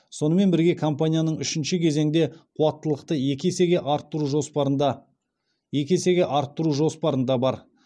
сонымен бірге компанияның үшінші кезеңде қуаттылықты екі есеге арттыру жоспарында екі есеге арттыру жоспарында бар